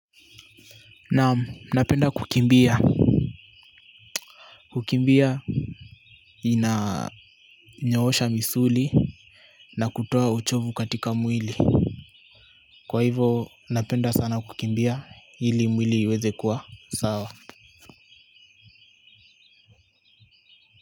Naam napenda kukimbia. Kukimbia inanyoosha misuli na kutoa uchovu katika mwili. Kwa hivo napenda sana kukimbia ili mwili iweze kuwa sawa.